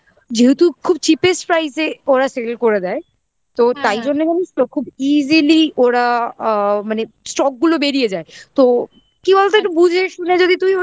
যেহেতু খুব cheapest price এ ওরা sale করে দেয় তো তাই জন্য জানিস তো খুব easily ওরা আ মানে stock গুলো বেরিয়ে যায় তো কি বলতো একটু বুঝে শুনে যদি